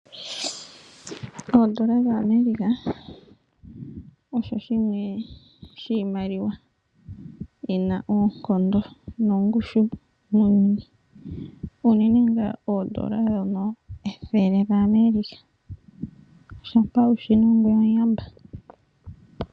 Oondola dhaAmerica osho shimwe shiimaliwa yi na oonkondo nongushu muuyuni, unene tuu oondola ndhono ethele lyaAmerica shampa wu shi na ongweye omuyamba.